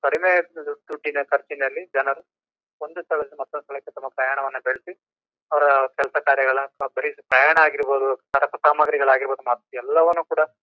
ಕಡಿಮೆ ದೊಡ್ಡಿನ ಖರ್ಚಿನಲ್ಲಿ ಜನರು ಒಂದು ಸ್ಥಳದಿಂದ ಮತ್ತ್ತೊಂದು ಸ್ಥಳಕೇ ತಮ್ಮ ಪಯಣವನ ಬೆಳ್ಸಿ ಅವರು ಕೆಲಸ ಕಾರ್ಯಗಳ ಬರಿ ಪಯಣ ಆಗಿರ್ಬಹುದು ಸಾರಪುಸಾಮಗ್ರಿಗಳ್ ಆಗಿರ್ಬಹುದು ಮತ್ತ್ ಎಲ್ಲವನು ಕೂಡ--